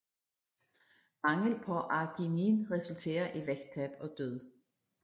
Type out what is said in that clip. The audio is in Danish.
Mangel på arginin resulterer i vægttab og død